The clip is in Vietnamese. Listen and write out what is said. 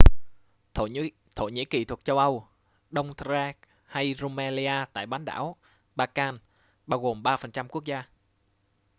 thổ nhĩ kỳ thuộc châu âu đông thrace hay rumelia tại bán đảo balkan bao gồm 3% quốc gia